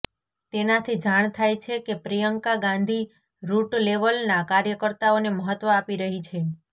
તેનાથી જાણ થાય છે કે પ્રિયંકા ગાંધી રૂટ લેવલના કાર્યકર્તાઓને મહત્વ આપી રહી છે